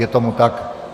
Je tomu tak.